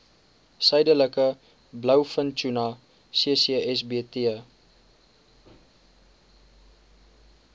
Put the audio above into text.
suidelike blouvintuna ccsbt